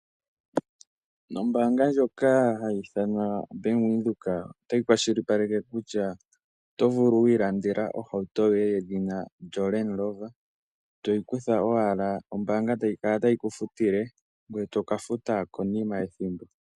Nombanga ndjoka yaVenduka oto vulu okukutha owala yo ombanga tayi kala tayi kufutile ngoye toka futa konima yethimbo.